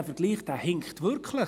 dieser Vergleich hinkt wirklich.